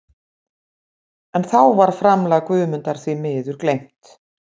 En þá var framlag Guðmundar því miður gleymt.